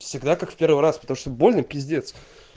всегда как в первый раз потому что больно пиздец